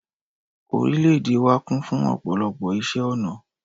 Orílẹ̀ èdè wa kún fún ọ̀pọ̀lọpọ̀ ìṣe ọnà